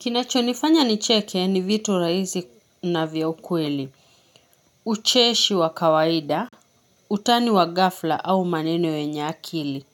Kinacho nifanya nicheke ni vitu raizi na vya ukweli. Ucheshi wa kawaida, utani wa gafla au maneno yenye akili.